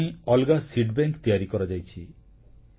ଏଥିପାଇଁ ଅଲଗା ବିହନବ୍ୟାଙ୍କ ତିଆରି କରାଯାଇଛି